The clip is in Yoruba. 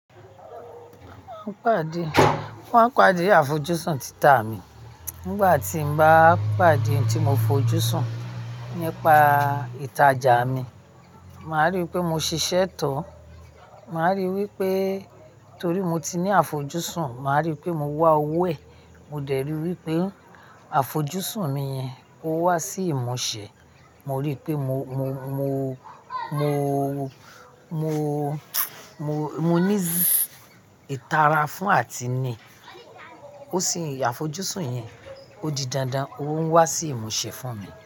Wọn pàdé, wọ́n pàdé àfojúsùn títà mi nígbà tín bá pàdé n tí mo fojú sùn nípa ìtajà mi, màá rí i pé mo ṣiṣẹ́ to màá rí wípé torí mo ti ní àfojúsùn, màá rí pé mo wá owó ẹ, mo dẹ̀ rí wípé àfojúsùn mi yẹn, ó wà sí ìmúṣe, mo rí pé mo, mo, mo, mo, mo, mo ní ìtara fún àtinì, ó sì ń àfojúsùn yẹn ó di dandan, ó ń wá sí ìmúṣe fún mi.